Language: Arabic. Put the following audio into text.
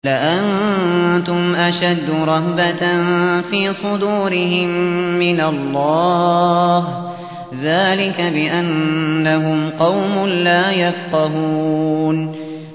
لَأَنتُمْ أَشَدُّ رَهْبَةً فِي صُدُورِهِم مِّنَ اللَّهِ ۚ ذَٰلِكَ بِأَنَّهُمْ قَوْمٌ لَّا يَفْقَهُونَ